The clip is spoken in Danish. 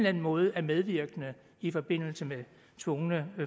anden måde er medvirkende i forbindelse med tvungne